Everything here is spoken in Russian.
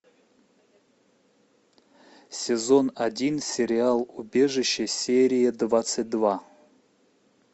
сезон один сериал убежище серия двадцать два